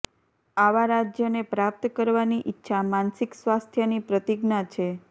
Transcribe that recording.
આવા રાજ્યને પ્રાપ્ત કરવાની ઇચ્છા માનસિક સ્વાસ્થ્યની પ્રતિજ્ઞા છે